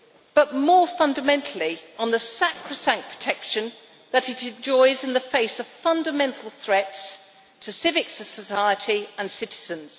but more fundamentally in the sacrosanct protection that it enjoys in the face of fundamental threats to civil society and citizens.